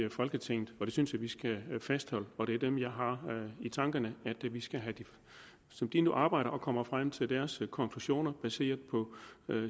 i folketinget og det synes jeg vi skal fastholde og det er dem jeg har i tankerne som de nu arbejder og kommer frem til deres konklusioner baseret på